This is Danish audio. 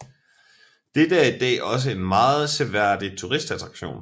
Dette er i dag også en meget seværdig turistattraktion